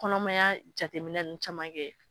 Kɔnɔmaya jateminɛ nunnu caman kɛ.